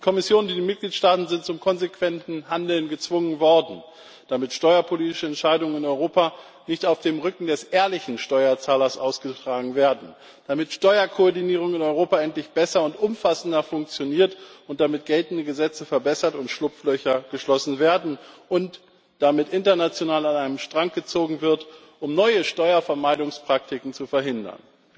Die Kommission und die Mitgliedstaaten sind zum konsequenten Handeln gezwungen worden, damit steuerpolitische Entscheidungen in Europa nicht auf dem Rücken des ehrlichen Steuerzahlers ausgetragen werden, damit Steuerkoordinierung in Europa endlich besser und umfassender funktioniert, damit geltende Gesetze verbessert und Schlupflöcher geschlossen werden und damit international an einem Strang gezogen wird, um neue Steuervermeidungspraktiken zu verhindern.